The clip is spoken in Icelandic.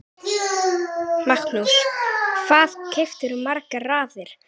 Magnús: Hvað kaupirðu margar raðir?